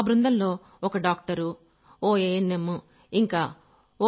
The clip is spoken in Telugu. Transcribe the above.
ఆ బృందంలో ఓ డాక్టర్ ఓ ఏఎన్ఎం ఇంకా ఓ